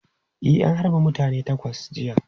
E, an harbe mutane takwas jiya.